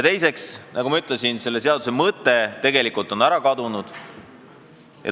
Teiseks, nagu ma ütlesin, selle seaduse mõte on ära kadunud.